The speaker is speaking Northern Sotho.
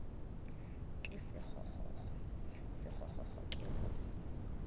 ke sekgokgokgo sekgokgokgo ke go